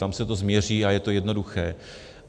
Tam se to změří a je to jednoduché.